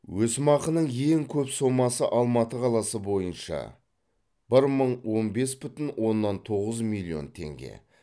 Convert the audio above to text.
өсімақының ең көп сомасы алматы қаласы бойынша бір мың он бес бүтін оннан тоғыз миллион теңге